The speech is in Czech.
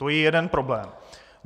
To je jeden problém.